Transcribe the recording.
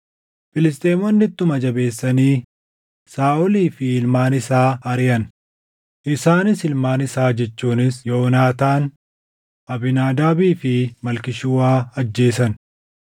Filisxeemonni ittuma jabeessanii Saaʼolii fi ilmaan isaa ariʼan; isaanis ilmaan isaa jechuunis Yoonaataan, Abiinaadaabii fi Malkii-Shuwaa ajjeesan.